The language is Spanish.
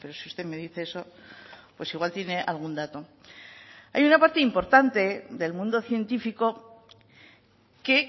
si usted me dice eso pues igual tiene algún dato hay una parte importante del mundo científico que